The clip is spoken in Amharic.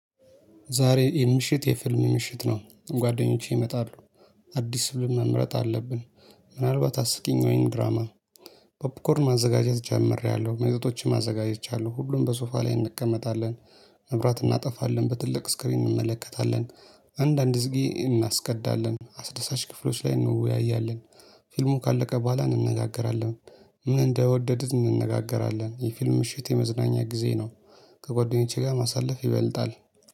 ዛሬ ይህ ምሽት የፊልም ምሽት ነው። ጓደኞቼ ይመጣሉ። አዲስ ፊልም መምረጥ አለብን። ምናልባት አስቂኝ ወይንም ድራማ። ፖፕኮርን ማዘጋጀት ጀምሬያለሁ መጠጦችም አዘጋጅቻለሁ ሁሉም በሶፋ ላይ እንቀመጣለን። መብራት እናጠፋለን በትልቅ ስክሪን እንመለከታለን። አንዳንድ ዝጊ እናስቀዳለን አስደሳች ክፍሎች ላይ እንወያያለን። ፊልሙ ካለቀ በኋላ እንነጋገራለን። ምን እንደወደዱት እንነጋገራለን የፊልም ምሽት የመዝናኛ ጊዜ ነው። ከጎደኞቼ ጋር ማሳለፍ ይበልጣል